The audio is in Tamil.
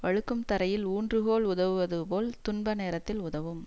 வழுக்கும் தரையில் ஊன்று கோல் உதவுவது போல் துன்ப நேரத்தில் உதவும்